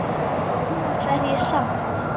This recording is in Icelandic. Annars er ég sátt!